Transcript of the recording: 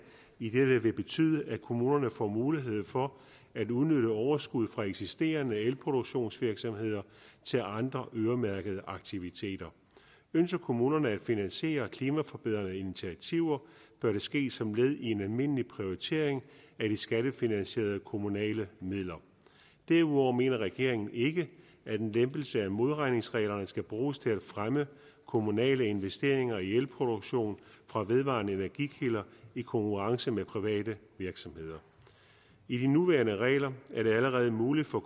idet det vil betyde at kommunerne får mulighed for at udnytte overskuddet fra eksisterende elproduktionsvirksomheder til andre øremærkede aktiviteter ønsker kommunerne at finansiere klimaforbedrende initiativer bør det ske som led i en almindelig prioritering af de skattefinansierede kommunale midler derudover mener regeringen ikke at en lempelse af modregningsreglerne skal bruges til at fremme kommunale investeringer i elproduktion fra vedvarende energi kilder i konkurrence med private virksomheder i de nuværende regler er det allerede muligt for